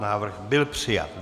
Návrh byl přijat.